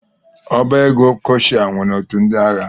Ọbá égo Kọshal nwere otu ndị ahịa.